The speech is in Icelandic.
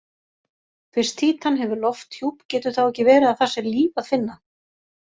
Fyrst Títan hefur lofthjúp, getur þá ekki verið að þar sé líf að finna?